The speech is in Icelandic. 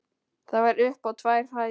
Það var upp á tvær hæðir.